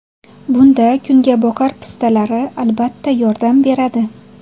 Bunda kungaboqar pistalari, albatta, yordam beradi.